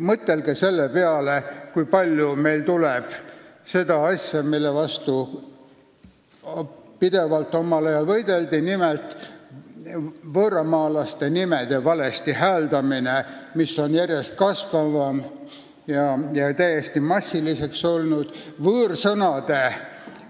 Mõtelge selle peale, kui palju tuleb ette seda, mille vastu omal ajal pidevalt võideldi, nimelt võõrnimede valesti hääldamist, mis järjest kasvab ja on täiesti massiliseks muutunud, võõrsõnade